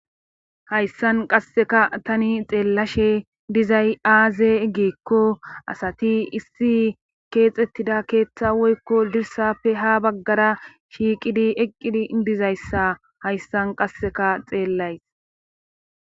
hayssan qasseka tani xeellashe dizay aazee ggikko asati issi keexettida keeththa woykko dirsappe ha baggara shiiqidi eqqidi dizayssa hayssan qasseka xeellays